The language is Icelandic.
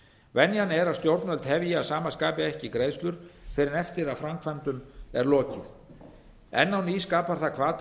venjan er að stjórnvöld hefji að sama skapi ekki greiðslur fyrr en eftir að framkvæmdum er lokið enn á eru skapar það hvata